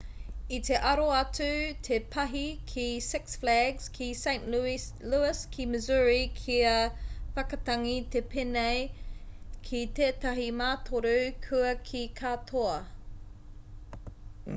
i te aro atu te pahi ki six flags ki st louis ki missouri kia whakatangi te pēne ki tētahi mātoru kua kī katoa